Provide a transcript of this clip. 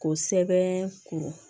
K'o sɛbɛn ko